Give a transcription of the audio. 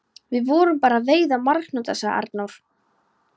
Við vorum bara að veiða marhnúta, sagði Arnór.